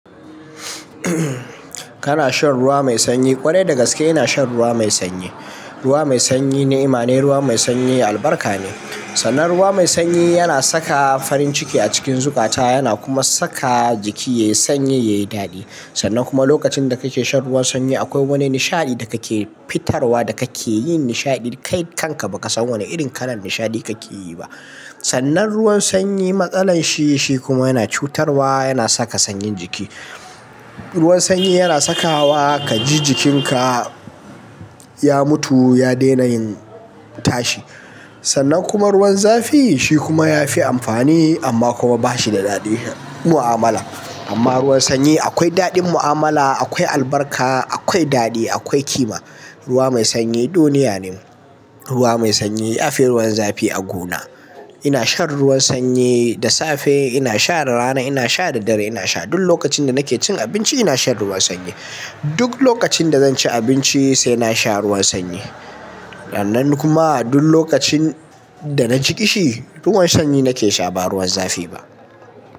Kana shan ruwa mai sanyi, ƙwarai dagaske ina shan ruwa mai sanyi. Ruwa mai sanyi ni, ima ne ruwa mai sanyi albarka ne. Sannan ruwa mai sanyi yana saka farin ciki a cikin zukata, yana kuma saka jiki yayi sanyi, yayi daɗi. Sannan kuma lokacin da kake shan ruwan sanyi akwai wani nishaɗi da kake fitarwa da kake yin nishaɗi kai kanka bakasan wane irin kalar nishaɗi kake yi ba. Sannan ruwan sanyi matsalar shi, shi kuma yana cutarwa, yana saka sanyin jiki. Ruwan sanyi yana sakawa kaji jikinka ya mutu, ya daina yin tashi. Sannan kuma ruwan zafi shi kuma yafi amfani amma kuma bashi da daɗin mu'amala. Amma ruwan sanyi akwai daɗin mu'amala, akwai albarka, akwai daɗi, akwai kima. Ruwa mai sanyi duniya ne. Ruwa mai sanyi yafi ruwan zafi a gona. Ina shan ruwan sanyi da safe, ina sha da rana, ina sha da dare, ina sha duk lokacin da nake cin abinci ina shan ruwan sanyi. Duk lokacin da zanci abinci sai nasha ruwan sanyi. Sannan kuma duk lokacin da na ji ƙishi ruwan sanyi nake sha ba ruwan zafi ba.